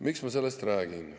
Miks ma sellest räägin?